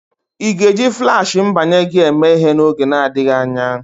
Ị ga-eji Flashị mbanye gị eme ihe n'oge adịghị anya?